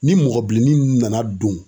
Ni mɔgɔ bilennin nunnu nana don